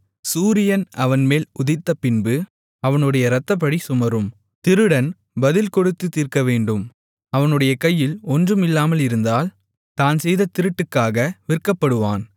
சூரியன் அவன்மேல் உதித்தபின்பு அவனுடைய இரத்தப்பழி சுமரும் திருடன் பதில் கொடுத்துத் தீர்க்கவேண்டும் அவனுடைய கையில் ஒன்றும் இல்லாமல் இருந்தால் தான் செய்த திருட்டுக்காக விற்கப்படுவான்